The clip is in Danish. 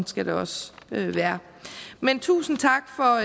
skal det også være men tusind tak for